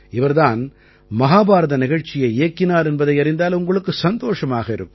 இவர் தான் மஹாபாரத நிகழ்ச்சியை இயக்கினார் என்பதை அறிந்தால் உங்களுக்கு சந்தோஷமாக இருக்கும்